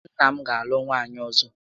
Nna m ga alụ nwaanyị ọzọ